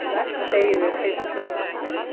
Þegiðu, fituklessan þín.